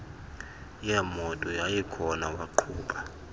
yeemoto yayikhona waqhuba